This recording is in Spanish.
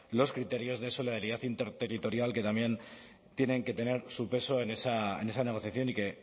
los criterios de solidaridad interterritorial que también tienen que tener su peso en esa negociación y que